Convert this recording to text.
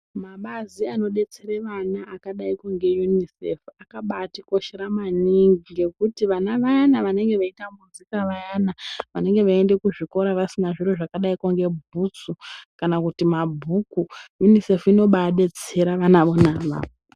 Mabazi anodetsera vana akadayi ngeUNICEF akabaatikoshera maningi ngekuti vana vayani vanenge veitambudzika vayani vanenge veiende kuzvikora vasina zviro zvakadayi ngebhutsu kana kuti mabhuku. UNICEF inobaadetsera vana vona avavo.